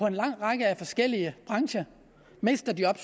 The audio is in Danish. en lang række forskellige brancher mister job